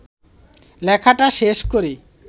লেখাটা শেষ করি